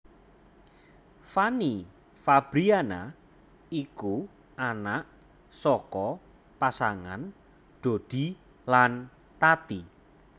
Fanny Fabriana iku anak saka pasangan Doddy lan Tati